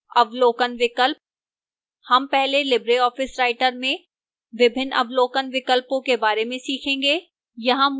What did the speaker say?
अवलोकन विकल्प